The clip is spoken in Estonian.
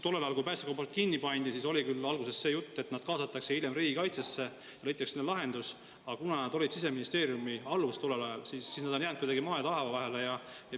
Tollel ajal, kui päästekomandod kinni pandi, oli küll alguses juttu, et need mehed kaasatakse hiljem riigikaitsesse või leitakse mingi lahendus, aga kuna nad olid tookord Siseministeeriumi alluvuses, siis on nad jäänud kuidagi nagu maa ja taeva vahele.